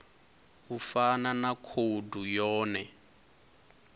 u fana na khoudu yone